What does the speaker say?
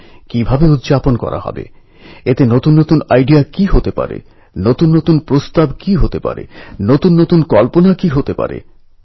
এই কারণেই সম্ভবত তাঁরা গ্রামের যা প্রয়োজন ঠিক সেই অনুসারে কিছু বানাতে পেরেছেন